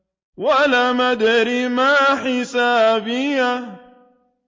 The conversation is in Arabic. وَلَمْ أَدْرِ مَا حِسَابِيَهْ